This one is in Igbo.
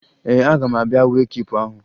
Ee, aga m abịa wee kiipu ahụ